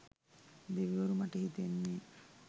දෙවිවරු මට හිතෙන්නෙ